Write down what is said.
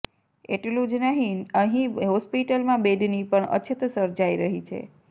એટલું જ નહીં અહીં હોસ્પિટલમાં બેડની પણ અછત સર્જાઈ રહી છે